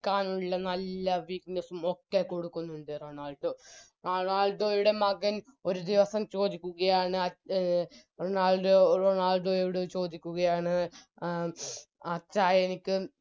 ക്കാനുള്ള നല്ല Weakness ഉം ഒക്കെ കൊടുക്കുന്നുണ്ട് റൊണാൾഡോ റൊണാൾഡോയുടെ മകൻ ഒരുദിവസം ചോദിക്കുകയാണ് അച് റൊണാൾഡോ റൊണാൾഡോയോട് ചോദിക്കുകയാണ് ഉം അച്ഛാ എനിക്ക്